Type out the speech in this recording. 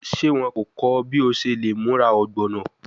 Ṣe wọn ko kọ ọ bi o ṣe le mura ogbono?